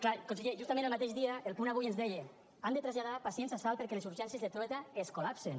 clar conseller justament el mateix dia el punt avui ens deia han de traslladar pacients a salt perquè les urgències del trueta es col·lapsen